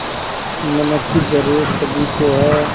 नमक की ज़रूरत सभी को है